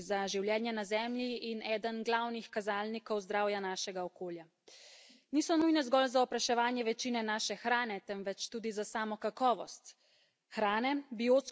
Niso nujne zgolj za opraševanje večine naše hrane, temveč tudi za samo kakovost hrane, biotsko raznovrstnost, zatiranje škodljivih organizmov, kakovost tal in vode.